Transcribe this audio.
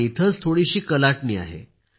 पण इथेच थोडीसी कलाटणी आहे